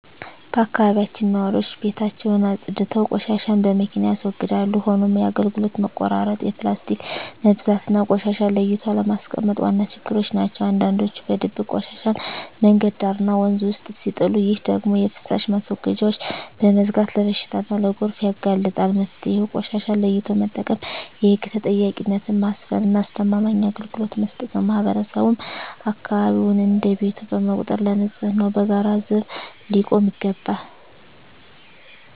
በአካባቢያችን ነዋሪዎች ቤታቸውን አፅድተው ቆሻሻን በመኪና ያስወግዳሉ። ሆኖም የአገልግሎት መቆራረጥ፣ የፕላስቲክ መብዛትና ቆሻሻን ለይቶ አለማስቀመጥ ዋና ችግሮች ናቸው። አንዳንዶች በድብቅ ቆሻሻን መንገድ ዳርና ወንዝ ውስጥ ሲጥሉ፣ ይህ ደግሞ የፍሳሽ ማስወገጃዎችን በመዝጋት ለበሽታና ለጎርፍ ያጋልጣል። መፍትሄው ቆሻሻን ለይቶ መጠቀም፣ የህግ ተጠያቂነትን ማስፈንና አስተማማኝ አገልግሎት መስጠት ነው። ማህበረሰቡም አካባቢውን እንደ ቤቱ በመቁጠር ለንፅህናው በጋራ ዘብ ሊቆም ይገባል።